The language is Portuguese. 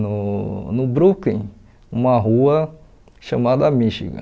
no no Brooklyn, uma rua chamada Michigan.